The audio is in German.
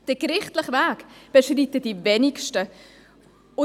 Den gerichtlichen Weg beschreiten die wenigsten.